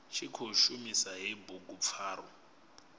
tshi khou shumisa hei bugupfarwa